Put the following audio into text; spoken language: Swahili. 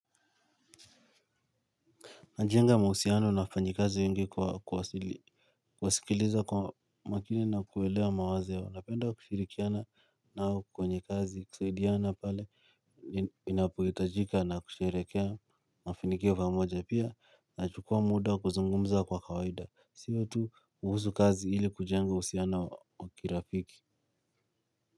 Ninajenga mahusiano na wafanyikazi wengi kwa kuwasikiliza kwa makini na kuwaelewa mawazo yao, ninapenda kushirikiana nao kwenye kazi na kusaidiana pale, inapohitajika na kusherehekea mafanikio pamoja. Pia ninachukua muda wa kuzungumza kwa kawaida, siyo tu kuhusu kazi ilikujenga uhusiano wa kirafiki.